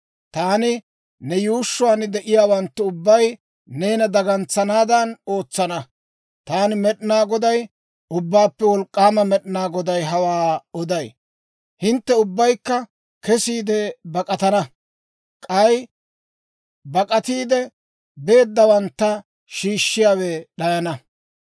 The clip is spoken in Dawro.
Taani ne yuushshuwaan de'iyaawanttu ubbay neena dagantsanaadan ootsana. Taani Med'inaa Goday, Ubbaappe Wolk'k'aama Med'inaa Goday hawaa oday. Hintte ubbaykka kesiide bak'atana; k'ay bak'atiide beeddawantta shiishshiyaawe d'ayana.